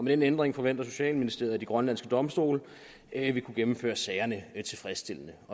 den ændring forventer socialministeriet at de grønlandske domstole vil kunne gennemføre sagerne tilfredsstillende